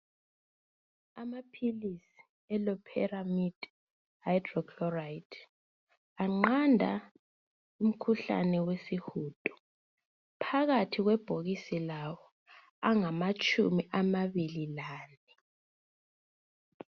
Amaphilisi eLoperamide Hydrochloride aqanda umkhuhlane wesihudo. Phakathi kwebhokisi lawo angamatshumi amabili lane.